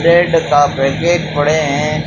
Bread का packet पड़े हैं।